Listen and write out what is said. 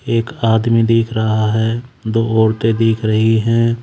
एक आदमी दिख रहा है दो औरतें दिख रही हैं।